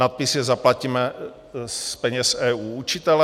Nadpis je Zaplaťme z peněz EU učitele.